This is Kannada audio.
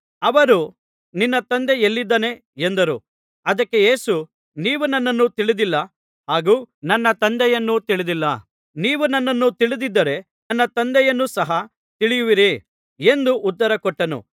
ಅವರು ನಿನ್ನ ತಂದೆ ಎಲ್ಲಿದ್ದಾನೆ ಎಂದರು ಅದಕ್ಕೆ ಯೇಸು ನೀವು ನನ್ನನ್ನೂ ತಿಳಿದಿಲ್ಲ ಹಾಗೂ ನನ್ನ ತಂದೆಯನ್ನೂ ತಿಳಿದಿಲ್ಲ ನೀವು ನನ್ನನ್ನು ತಿಳಿದಿದ್ದರೆ ನನ್ನ ತಂದೆಯನ್ನೂ ಸಹ ತಿಳಿದಿರುವಿರಿ ಎಂದು ಉತ್ತರ ಕೊಟ್ಟನು